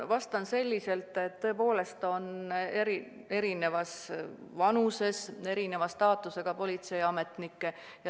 Vastan selliselt, et tõepoolest on erinevas vanuses ja erineva staatusega politseiametnikke.